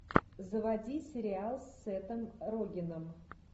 заводи сериал с сетом рогеном